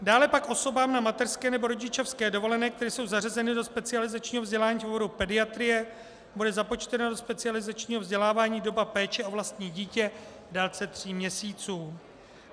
Dále pak osobám na mateřské nebo rodičovské dovolené, které jsou zařazeny do specializačního vzdělání z důvodu pediatrie, bude započtena do specializačního vzdělávání doba péče o vlastní dítě v délce tří měsíců.